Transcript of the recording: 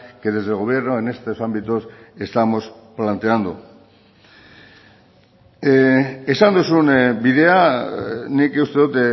que desde el gobierno en estos ámbitos estamos planteando esan duzun bidea nik uste dut